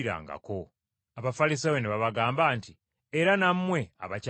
Abafalisaayo ne babagamba nti, “Era nammwe abakyamizza?